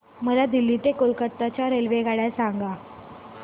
मला दिल्ली ते कोलकता च्या रेल्वेगाड्या सांगा